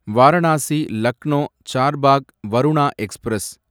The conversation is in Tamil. வாரணாசி லக்னோ சார்பாக் வருணா எக்ஸ்பிரஸ்